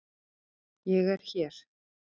ÉG ER HÉR!